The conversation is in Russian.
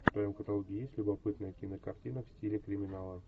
в твоем каталоге есть любопытная кинокартина в стиле криминала